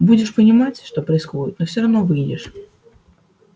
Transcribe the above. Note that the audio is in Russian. будешь понимать что происходит но всё равно выйдешь